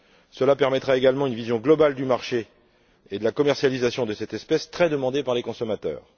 Cela permettra également d'avoir une vision globale du marché et de la commercialisation de cette espèce très demandée par les consommateurs.